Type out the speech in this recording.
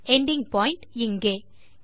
ending point இங்கே